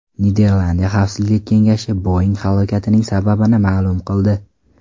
Niderlandiya xavfsizlik kengashi Boeing halokatining sababini ma’lum qildi.